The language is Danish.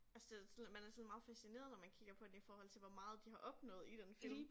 Altså det var sådan lidt man er sådan meget fascineret når man kigger på den i forhold til hvor meget de har opnået i den film